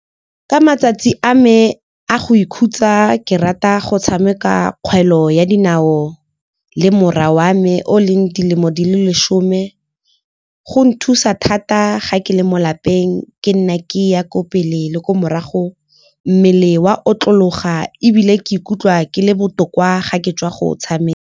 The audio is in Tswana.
Ka matsatsi a me a go ikhutsa ke rata go tshameka kgwele ya dinao le mora wa me o leng dilemo di le leshome. Go nthusa thata ga ke le mo lapeng ke nna ke ya ko pele le ko morago, mmele wa otlologa ebile ke ikutlwa ke le botoka ga ke tswa go o tshameka.